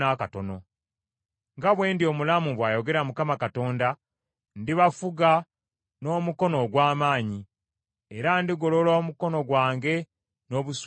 Nga bwe ndi omulamu, bw’ayogera Mukama Katonda, ndibafuga n’omukono ogw’amaanyi, era ndigolola omukono gwange n’obusungu bungi.